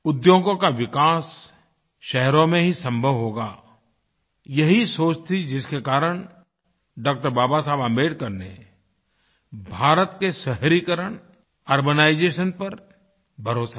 उद्योगों का विकास शहरों में ही संभव होगा यही सोच थी जिसके कारण डॉ० बाबा साहब आम्बेडकर ने भारत के शहरीकरणurbanization पर भरोसा किया